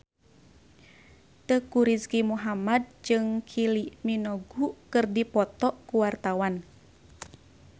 Teuku Rizky Muhammad jeung Kylie Minogue keur dipoto ku wartawan